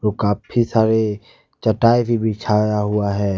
काफी सारे चटाई भी बिछाया हुआ है।